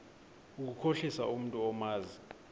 ukukhohlisa umntu omazi